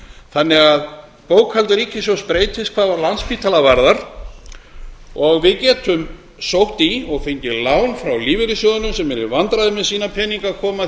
þannig að bókhald ríkissjóðs breytist hvað landspítala varðar við getum sótt í og fengið lán hjá lífeyrissjóðunum sem eru í vandræðum með að koma peningum